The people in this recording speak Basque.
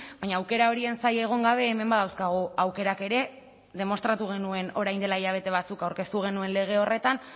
baina aukera horien zain egon gabe hemen badauzkagu aukerak ere demostratu genuen orain dela hilabete batzuk aurkeztu genuen lege horretan